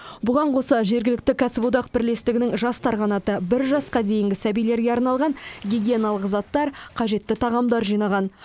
бұған қоса жергілікті кәсіподақ бірлестігінің жастар қанаты бір жасқа дейінгі сәбилерге арналған гигиеналық заттар қажетті тағамдар жинаған